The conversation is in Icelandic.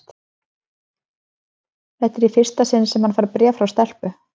Þetta er í fyrsta sinn sem hann fær bréf frá stelpu.